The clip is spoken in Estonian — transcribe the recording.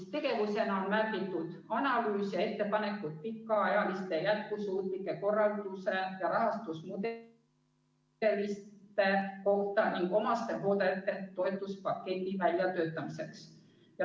" Tegevusena on märgitud: "Analüüs ja ettepanekud pikaajalise hoolduse jätkusuutliku korralduse ja rahastusmudelite kohta ning omastehooldajate toetuspaketi väljatöötamiseks.